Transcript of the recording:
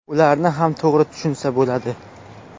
Ularni ham to‘g‘ri tushunsa bo‘ladi.